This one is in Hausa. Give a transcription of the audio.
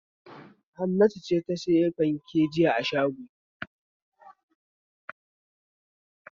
Hannatu ce ta sayi fanke jiya a shago.